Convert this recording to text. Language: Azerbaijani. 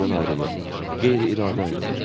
O isə məndən ayrılır, qeyri-iradi ayrılır.